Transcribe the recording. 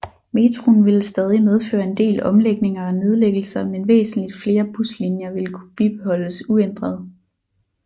Metroen ville stadig medføre en del omlægninger og nedlæggelser men væsentligt flere buslinjer ville kunne bibeholdes uændret